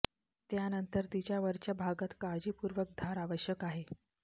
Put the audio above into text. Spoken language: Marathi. त्यानंतर तिच्या वरच्या भागात काळजीपूर्वक धार आवश्यक आहे